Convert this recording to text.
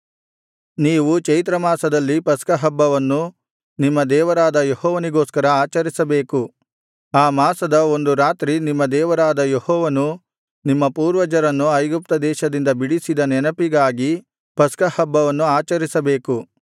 ನೀವು ಚೈತ್ರ ಮಾಸದಲ್ಲಿ ಪಸ್ಕಹಬ್ಬವನ್ನು ನಿಮ್ಮ ದೇವರಾದ ಯೆಹೋವನಿಗೋಸ್ಕರ ಆಚರಿಸಬೇಕು ಆ ಮಾಸದ ಒಂದು ರಾತ್ರಿ ನಿಮ್ಮ ದೇವರಾದ ಯೆಹೋವನು ನಿಮ್ಮ ಪೂರ್ವಜರನ್ನು ಐಗುಪ್ತದೇಶದಿಂದ ಬಿಡಿಸಿದ ನೆನಪಿಗಾಗಿ ಪಸ್ಕಹಬ್ಬವನ್ನು ಆಚರಿಸಬೇಕು